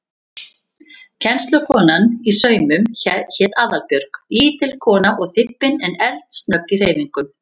Kennslukonan í saumum hét Aðalbjörg, lítil kona og þybbin en eldsnögg í hreyfingum.